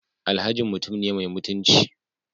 Alhajin mutum ne mai mutunci